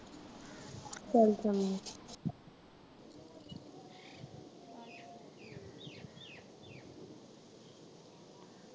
ਚੱਲ ਚੰਗਾ।